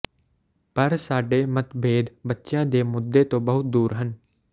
ਪਰ ਸਾਡੇ ਮਤਭੇਦ ਬੱਚਿਆਂ ਦੇ ਮੁੱਦੇ ਤੋਂ ਬਹੁਤ ਦੂਰ ਹਨ